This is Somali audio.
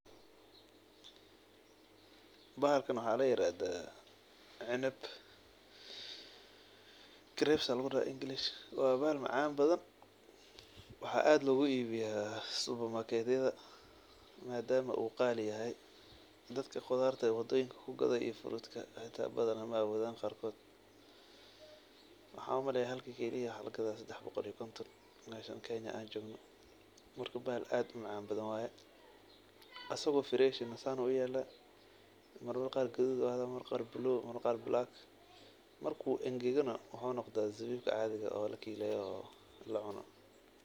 Bahalkan waxaa la yirahdaa canab, grapes lugu dhahaa english. Wa bahal macaan badan. Waxaa aad loogu iibiya supermarket yada. Maadaama uu qaali yahay, dadka qudaarta wadooyinka ku gada iyo frutka hataa badana ma'awoodaan qaarkood. Maxaa u maleyaa halka kiil waxaa lagadaa sedax boqol iyo konton meeshan keenya aan joogno. Marka bahal aad u macaan badan waay. Asigo fresh eh saan uu uyala, marmar qaar qaduud uu ahada, marmar qaar blue, marmar qaar black. Marka uu engagana, waxuu noqdaa zabiib caadiga eh oo la kiileeyo oo lacuno.